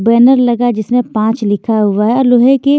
banner लगा जिसमें पांच लिखा हुआ है और लोहे के--